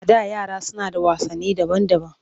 A da yara suna da wasanni daban-daban